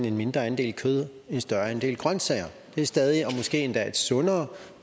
en mindre andel af kød og en større andel af grønsager det er stadig og måske endda et sundere